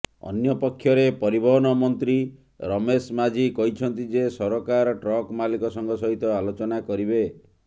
ଅନ୍ୟପକ୍ଷରେ ପରିବହନ ମନ୍ତ୍ରୀ ରମେଶ ମାଝୀ କହିଛନ୍ତି ଯେ ସରକାର ଟ୍ରକ ମାଲିକ ସଂଘ ସହିତ ଆଲୋଚନା କରିବେ